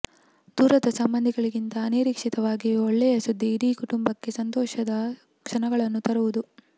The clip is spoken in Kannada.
ದೂರದ ಸಂಬಂಧಿಗಳಿಂದ ಅನಿರೀಕ್ಷಿತವಾದ ಒಳ್ಳೆಯಸುದ್ದಿ ಇಡೀ ಕುಟುಂಬಕ್ಕೆ ಸಂತೋಷದ ಕ್ಷಣಗಳನ್ನು ತರುವುದು